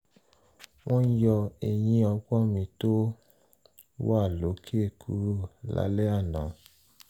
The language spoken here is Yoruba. wọ́n yọ eyín ọgbọ́n mi tó wà lókè kúrò lálẹ́ àná